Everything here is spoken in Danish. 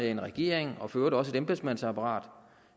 en regering og for øvrigt også et embedsmandsapparat